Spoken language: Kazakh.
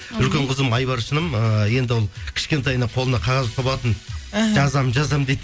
үлкен қызым айбаршыным ыыы енді ол кішкентайынан қолына қағаз ұстап алатын іхі жазамын жазамын дейді